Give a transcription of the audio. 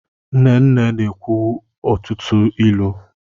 Nne nne na-ekwu ọtụtụ ilu.